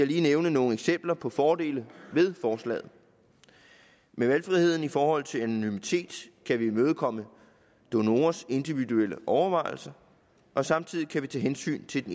lige nævne nogle eksempler på fordele ved forslaget med valgfriheden i forhold til anonymitet kan vi imødekomme donorers individuelle overvejelser og samtidig kan vi tage hensyn til